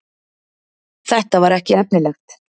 Þetta var ekki efnilegt.